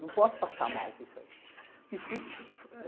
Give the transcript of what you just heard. Não posso passar mal com isso aí.